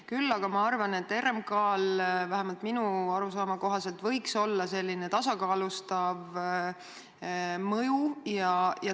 Küll aga ma arvan, et RMK-l võiks olla, vähemalt minu arusaama kohaselt, tasakaalustav mõju.